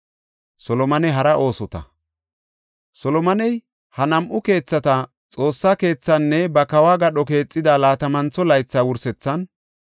Solomoney ha nam7u keethata, Xoossa keethaanne ba kawo gadho keexida laatamantho laytha wursethan,